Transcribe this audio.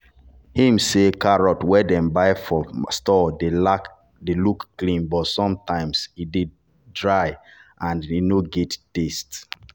him say carrot wey dem buy for store dey look clean but sometimes e dey dry and no get taste.